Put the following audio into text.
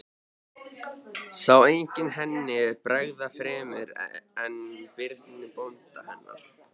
Sá enginn henni bregða fremur en Birni bónda hennar.